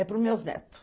É pros meus netos.